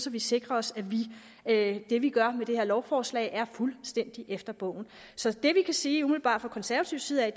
vi sikrer os at det vi gør med det her lovforslag er fuldstændig efter bogen så det vi kan sige umiddelbart fra konservativ side er